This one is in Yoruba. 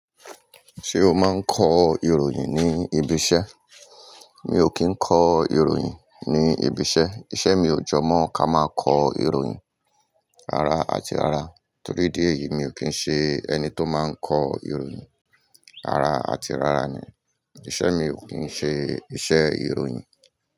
Ṣé o máa ń kọ ìròyìn ní ibi iṣẹ́? Mi ò kí ń kọ ìròyìn ní ibi iṣẹ́. Iṣẹ́ mi ò jọ mọ́ ká máa kọ ìròyìn rara àti rara. Torí idí èyí mi ò kí ń ṣe ẹni tó máa ń kọ ìròyìn rara àti rara ni. Iṣẹ́ mi ò kí ń ṣe iṣẹ́ ìròyìn.